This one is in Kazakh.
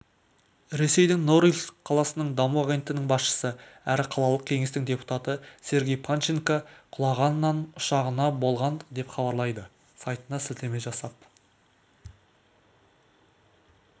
ресейдің норильск қаласының даму агенттігінің басшысы әрі қалалық кеңестің депутаты сергей панченко құлағанан ұшағында болған деп хабарлайды сайтына сілтеме жасап